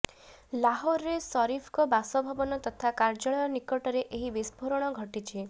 ଲାହୋରରେ ସରିଫଙ୍କ ବାସଭବନ ତଥା କାର୍ଯ୍ୟାଳୟ ନିକଟରେ ଏହି ବିସ୍ଫୋରଣ ଘଟିଛି